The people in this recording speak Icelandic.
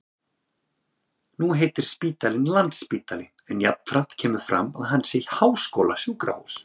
Nú heitir spítalinn Landspítali en jafnframt kemur fram að hann sé háskólasjúkrahús.